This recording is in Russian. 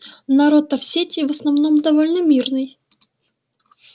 народ то в сети в основном довольно мирный